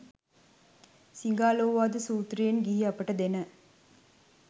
සිඟාලෝවාද සුත්‍රයෙන් ගිහි අපට දෙන